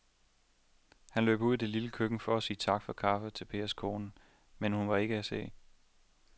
Han løb ud i det lille køkken for at sige tak for kaffe til Pers kone, men hun var ikke til at se.